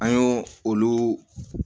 An y'o olu